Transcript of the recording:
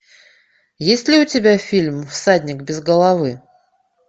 есть ли у тебя фильм всадник без головы